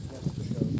Yaxşı, yaxşı.